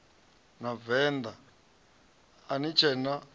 venḓa a ni tshee na